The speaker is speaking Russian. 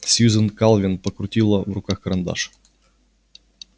сьюзен калвин покрутила в руках карандаш